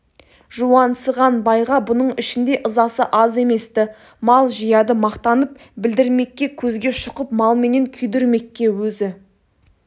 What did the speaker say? жуансыған байға бұның ішінде ызасы аз емес-ті мал жияды мақтанып білдірмекке көзге шұқып малменен күйдірмекке өзі